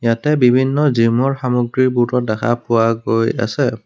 ইয়াতে বিভিন্ন জিম ৰ সামগ্ৰীবোৰো দেখা পোৱা গৈ আছে।